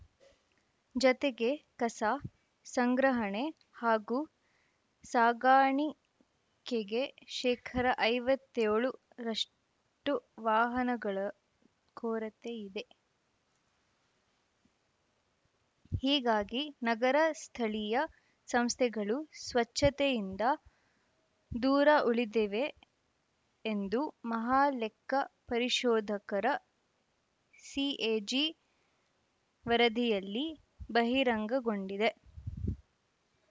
ಜತೆಗೆ ಕಸ ಸಂಗ್ರಹಣೆ ಹಾಗೂ ಸಾಗಾಣಿ ಕೆಗೆ ಶೇಕರ ಐವತ್ತ್ ಏಳು ರಷ್ಟುವಾಹನಗಳ ಕೊರತೆಯಿದೆ ಹೀಗಾಗಿ ನಗರ ಸ್ಥಳೀಯ ಸಂಸ್ಥೆಗಳು ಸ್ವಚ್ಛತೆಯಿಂದ ದೂರ ಉಳಿದಿವೆ ಎಂದು ಮಹಾಲೆಕ್ಕ ಪರಿಶೋಧಕರ ಸಿಎಜಿ ವರದಿಯಲ್ಲಿ ಬಹಿರಂಗಗೊಂಡಿದೆ